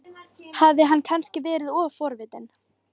Hafði hann kannski verið of forvitin?